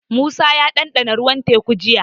Musa ya ɗanɗana ruwan Teku jiya.